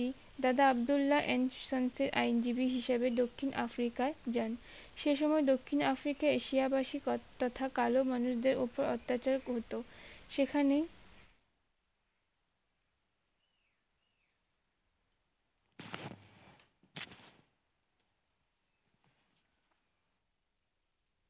দাদা আব্দুল্লা আইন জিবি হিসেবে দক্ষিন আফ্রিকায় যান সে সময়ে দক্ষিন আফ্রিকায় এশিয়াবাসীর ক~তথা কালো মানুষ দের ওপর অত্যাচার করতো সেখানেই